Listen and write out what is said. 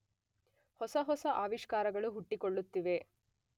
ಹೊಸ ಹೊಸ ಆವಿಸ್ಕಾರಗಳು ಹುಟ್ಟಿಕೊಳ್ಳುತ್ತಿವೆ.